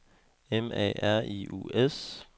M A R I U S